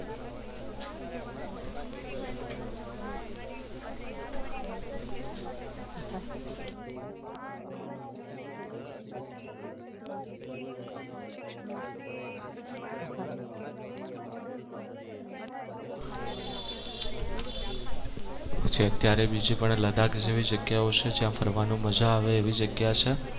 જે અત્યારે પણ બીજી લદ્દાખ જેવી જગ્યાઓ છે જ્યાં ફરવાનું મજા આવે એવી જગ્યા છે.